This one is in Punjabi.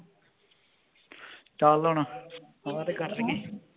ਚੱਲ ਹੁਣ ਆ ਤੇ ਕਰ ਲਈਏ